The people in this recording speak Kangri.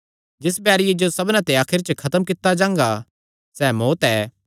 जिस बैरिये जो सबना ते आखरी च खत्म कित्ता जांगा सैह़ मौत्त ऐ